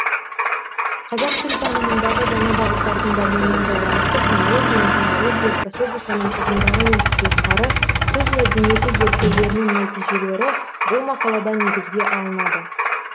қазақ тіл танымындағы жаңа бағыттардың дамуымен байланысты фонология интонология просодиканың үғымдары мен құбылыстары сөз мәдениеті зерттеулерінің нәтижелері бұл мақалада негізге алынады